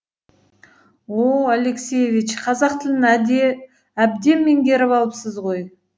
о о алексеевич қазақ тілін әбден меңгеріп алыпсыз ғой